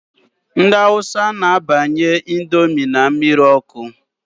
Ndị awusa na-abanye índomi n' mmiri ọkụ.